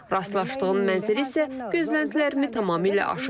Rastlaşdığım mənzərə isə gözləntilərimi tamamilə aşıb.